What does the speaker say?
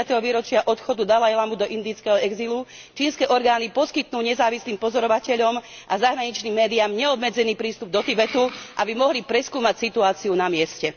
50. výročia odchodu dalajlámu do indického exilu čínske orgány poskytnú nezávislým pozorovateľom a zahraničným médiám neobmedzený prístup do Tibetu, aby mohli preskúmať situáciu na mieste.